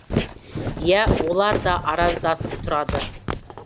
иә олар да араздасып тұрады